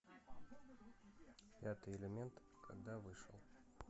пятый элемент когда вышел